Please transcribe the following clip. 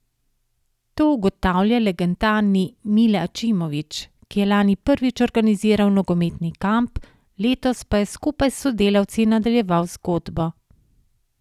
To ugotavlja legendarni Mile Ačimović, ki je lani prvič organiziral nogometni kamp, letos pa je skupaj s sodelavci nadaljeval zgodbo.